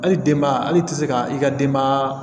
Hali denbaya hali i ti se ka i ka denbaya